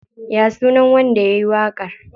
Ya sunan wanda yayi waƙar?